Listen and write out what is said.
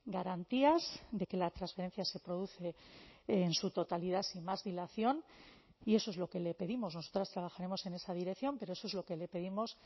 garantías de que la transferencia se produce en su totalidad sin más dilación y eso es lo que le pedimos nosotras trabajaremos en esa dirección pero eso es lo que le pedimos